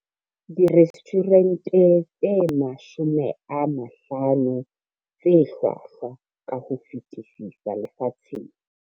Direstjhurente tse 50 tse hlwahlwa ka ho fetisisa lefatsheng.